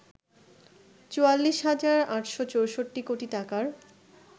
৪৪ হাজার ৮৬৪ কোটি টাকার